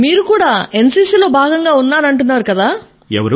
మీరు కూడా ఎన్సీసీ లో భాగంగా ఉన్నానంటున్నారు కదా